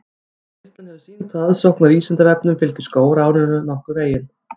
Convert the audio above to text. Reynslan hefur sýnt að aðsókn að Vísindavefnum fylgir skólaárinu nokkuð vel.